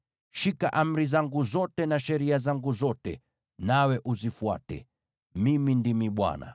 “ ‘Shika amri zangu zote na sheria zangu zote, nawe uzifuate. Mimi ndimi Bwana .’”